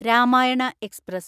Ramayana express